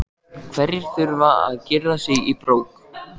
Hverjir þurfa að girða sig í brók?